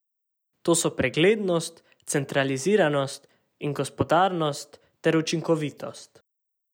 To so preglednost, centraliziranost in gospodarnost ter učinkovitost.